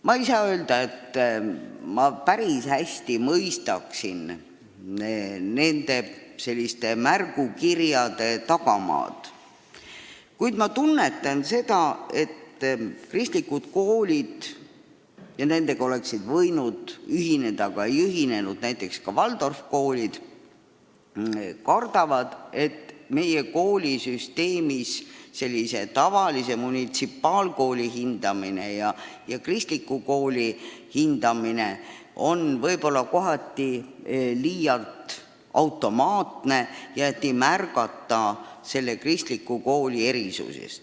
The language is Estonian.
Ma ei saa öelda, et ma päris hästi mõistan nende märgukirjade tagamaad, kuid ma tunnetan, et kristlikud koolid – ja nendega oleksid võinud ühineda, aga ei ühinenud näiteks Waldorfi koolid – kardavad, et meie koolisüsteemis võib tavalise munitsipaalkooli ja kristliku kooli hindamine olla liialt automaatne, nii et ei arvestata kristliku kooli erisusi.